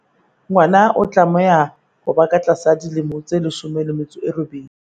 Ngwana o tlameha ho ba ka tlasa dilemo tse 18.